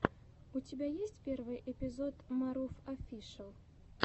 у тебя есть первый эпизод марув офишиал